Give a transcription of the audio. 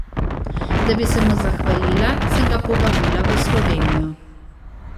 Da bi se mu zahvalila, sem ga povabila v Slovenijo.